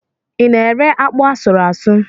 Ị na-ere akpụ asụrụ ásụ̀?